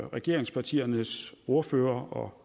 regeringspartiernes ordførere